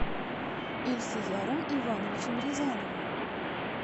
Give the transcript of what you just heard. ильсеяром ивановичем рязановым